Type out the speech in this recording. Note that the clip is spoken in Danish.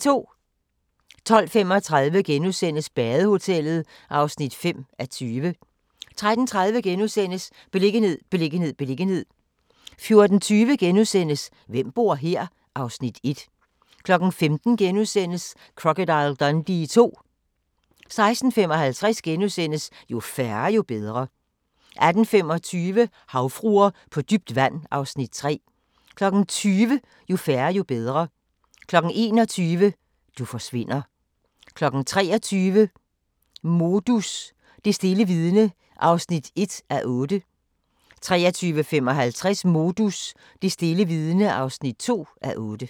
12:35: Badehotellet (5:20)* 13:30: Beliggenhed, beliggenhed, beliggenhed * 14:20: Hvem bor her? (Afs. 1)* 15:00: Crocodile Dundee II * 16:55: Jo færre, jo bedre * 18:25: Havfruer på dybt vand (Afs. 3) 20:00: Jo færre, jo bedre 21:00: Du forsvinder 23:00: Modus: Det stille vidne (1:8) 23:55: Modus: Det stille vidne (2:8)